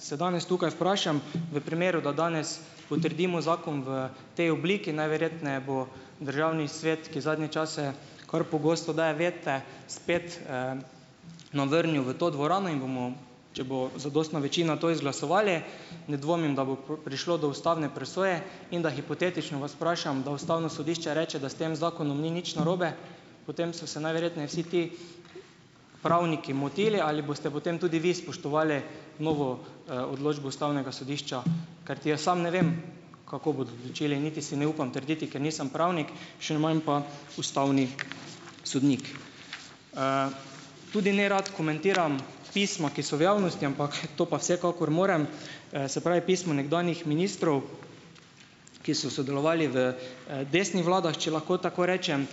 se danes tukaj vprašam, v primeru, da danes potrdimo zakon v potem obliki, najverjetneje bo državni svet, ki zadnje čase kar pogosto daje vete, spet, nam vrnil v to dvorano in bomo, če bo zadostna večina, to izglasovali, ne dvomim, da bo prišlo do ustavne presoje, in da hipotetično vas vprašam, da ustavno sodišče reče, da s tem zakonom ni nič narobe, potem so se najverjetneje vsi ti pravniki motili, ali boste potem tudi vi spoštovali novo, odločbo ustavnega sodišča? Karti jaz sam ne vem, kako bodo določili, niti si ne upam trditi, ker nisem pravnik, še manj pa ustavni sodnik. Tudi nerad komentiram pisma, ki so v javnosti, ampak, to pa vsekakor morem, se pravi, pisma nekdanjih ministrov, ki so sodelovali v, desnih vladah, če lahko tako rečem,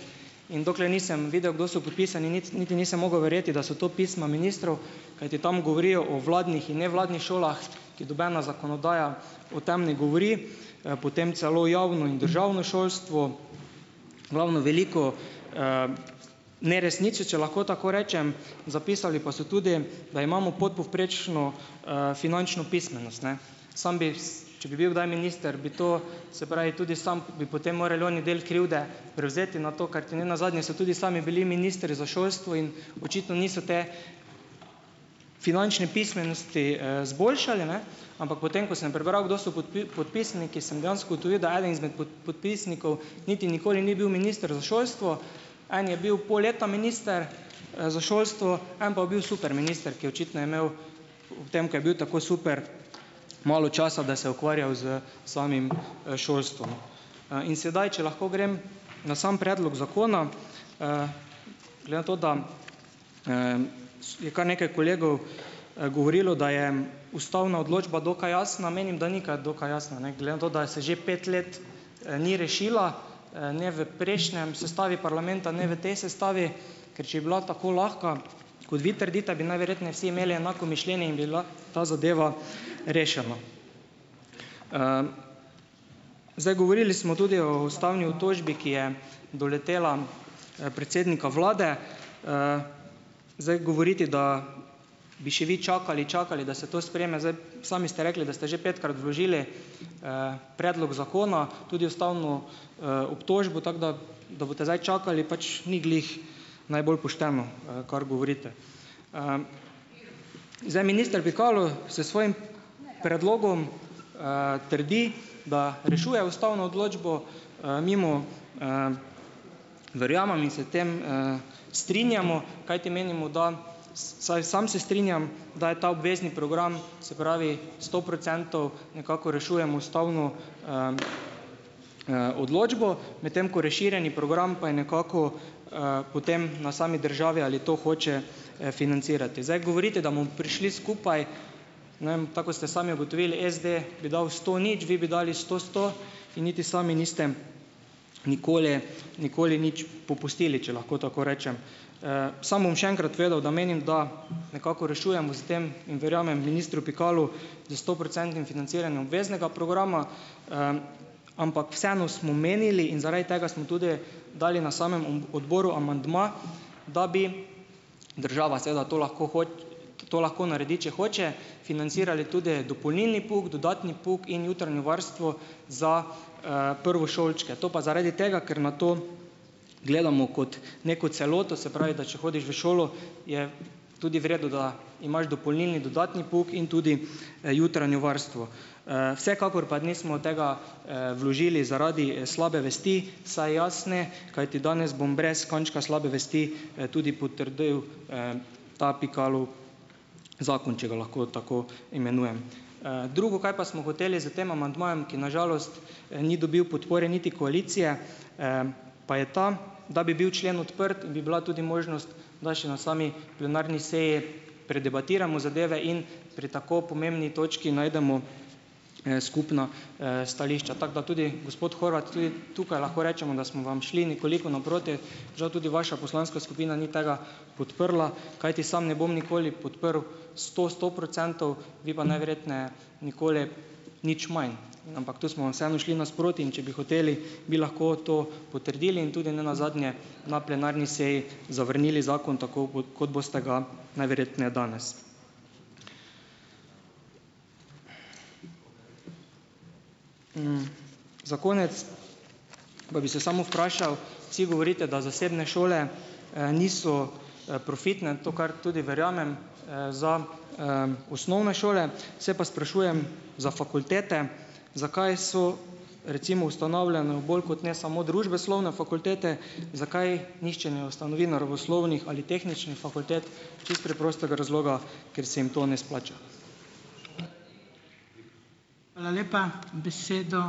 in dokler nisem videl, kdo so podpisani, niti niti nisem mogel verjeti, da so to pisma ministru, kajti tam govorijo o vladnih in nevladnih šolah, ki nobena zakonodaja o tem ne govori. Potem celo javno in državno šolstvo, v glavno veliko, neresnice, če lahko tako rečem. Zapisali pa so tudi, da imamo podpovprečno, finančno pismenost, ne. Samo bi, če bi bil kdaj minister, bi to, se pravi, tudi sam bi potem morali oni del krivde prevzeti na to, karti ne nazadnje so tudi sami bili ministri za šolstvo in očitno niso te finančne pismenosti, izboljšali, ne, ampak potem, ko sem prebral, kdo so podpisniki, sem dejansko ugotovil, da eden izmed podpisnikov niti nikoli ni bil minister za šolstvo. En je bil pol leta minister, za šolstvo, en pa je bil superminister, ki je očitno imel ob tem, ko je bil tako super, malo časa, da se je ukvarjal s samim, šolstvom. In sedaj, če lahko grem na sam predlog zakona. Glede na to, da, je kar nekaj kolegov, govorilo, da je ustavna odločba dokaj jasna - menim, da ni kaj dokaj jasna, ne. Glede na to, da se že pet let, ni rešila - ne v prejšnji sestavi parlamenta, ne v tej sestavi. Ker če bi bila tako lahka, kot vi trdite, bi najverjetneje vsi imeli enako mišljenje in bi bila ta zadeva rešena. Zdaj, govorili smo tudi o ustavni obtožbi, ki je doletela, predsednika vlade. Zdaj govoriti, da bi še vi čakali, čakali, da se to sprejme - zdaj, sami ste rekli, da ste že petkrat vložili, predlog zakona, tudi ustavno, obtožbo, tako da, da boste zdaj čakali, pač ni glih najbolj pošteno, kar govorite. Zdaj, minister Pikalo s svojim predlogom, trdi, da rešuje ustavno odločbo. Mi mu verjamemo in s tem, strinjamo, kajti menimo, da, vsaj sam se strinjam, da je ta obvezni program, se pravi sto procentov nekako rešujemo ustavno, odločbo, medtem ko razširjeni program pa je nekako, potem na sami državi ali to hoče, financirati. Zdaj govoriti, da bomo prišli skupaj - ne vem, tako kot ste sami ugotovili, SD bi dal sto, nič, vi bi dali sto, sto, in niti sami niste nikoli nikoli nič popustili, če lahko tako rečem. Sam bom še enkrat povedal, da menim, da nekako rešujemo s tem in verjamem ministru Pikalu, da s stoprocentnim financiranjem obveznega programa, ampak vseeno smo menili in zaradi tega smo tudi dali na samem, odboru amandma, da bi država seveda to lahko to lahko naredi, če hoče, financirali tudi dopolnilni pouk, dodatni pouk in jutranje varstvo za, prvošolčke, to pa zaradi tega, ker na to gledamo kot neko celoto, se pravi, da če hodiš v šolo, je tudi v redu, da imaš dopolnilni, dodatni pouk in tudi, jutranje varstvo. Vsekakor pa nismo tega, vložili zaradi, slabe vesti, vsaj jaz ne, kajti danes bom brez kančka slabe vesti, tudi potrdil, ta Pikalov zakon, če ga lahko tako imenujem. Drugo, kaj pa smo hoteli s tem amandmajem, ki na žalost, ni dobil podpore niti koalicije, pa je ta, da bi bil člen odprt in bi bila tudi možnost, da še na sami plenarni seji predebatiramo zadeve in pri tako pomembni točki najdemo, skupna, stališča, tako da tudi gospod Horvat, tudi tukaj lahko rečemo, da smo vam šli nekoliko naproti. Žal tudi vaša poslanska skupina ni tega podprla, kajti sam ne bom nikoli podprl sto, sto procentov, vi pa najverjetneje nikoli nič manj, ampak tu smo vam vseeno šli nasproti, in če bi hoteli, bi lahko to potrdili in tudi ne nazadnje na plenarni seji zavrnili zakon tako, kot, kot boste ga najverjetneje danes. Za konec pa bi se samo vprašal, vsi govorite, da zasebne šole, niso, profitne, to, kar tudi verjamem, za, osnovne šole, se pa sprašujem za fakultete, zakaj so recimo ustanavljane bolj kot ne samo družboslovne fakultete, zakaj nihče ne ustanovi naravoslovnih ali tehničnih fakultet. Čisto preprostega razloga: ker se jim to ne izplača.